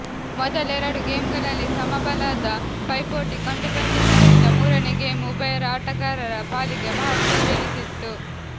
ಮೊದಲ ಎರಡು ಗೇಮ್ಗಳಲ್ಲಿ ಸಮಬಲದ ಪೈಪೋಟಿ ಕಂಡುಬಂದಿದ್ದ ರಿಂದ ಮೂರನೇ ಗೇಮ್ ಉಭಯ ಆಟಗಾರರ ಪಾಲಿಗೆ ಮಹತ್ವದ್ದೆನಿಸಿತ್ತು